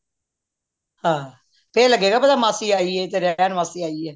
ਆਹ ਫੇਰ ਲਗੇਗਾ ਪਤਾ ਮਾਸੀ ਆਈਏ ਤੇ ਰਹਿਣ ਵਾਸਤੇ ਆਈਏ